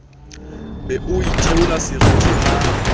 be o itheola seriti ha